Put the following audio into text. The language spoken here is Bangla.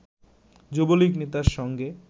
যুবলীগ নেতার সঙ্গে